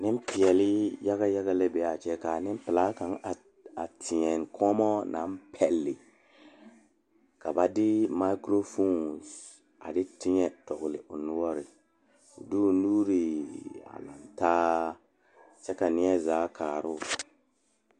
Nenpeɛle la zeŋ die kaŋa poɔ a eŋ nyɛboɔre bontuure ka bamine su kpare sɔglɔ ka bamine su kpare peɛle ka bamine su kpare ziiri ka bamine zeŋ ka bamine are ka bamine teɛ ba nu kyɛ ka bamine ba teɛ.